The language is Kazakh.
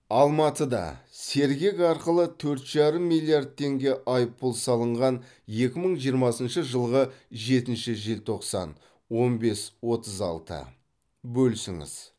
алматыда сергек арқылы төрт жарым миллиард теңге айыппұл салынған екі мың жиырмасыншы жылғы жетінші желтоқсан он бес отыз алты бөлісіңіз